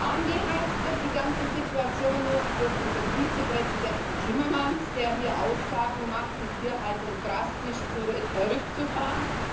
Angeheizt wird die ganze Situation noch durch unseren Vizepräsidenten Timmermans, der hier Aussagen macht, die Tierhaltung drastisch zurückzufahren.